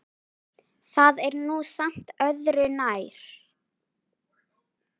Það er nú samt öðru nær.